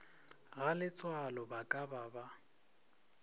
galetsoalo ba ka ba ba